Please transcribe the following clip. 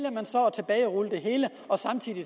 tilbagerulle det hele og samtidig